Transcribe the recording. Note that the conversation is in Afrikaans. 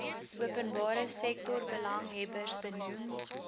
openbare sektorbelanghebbers benoem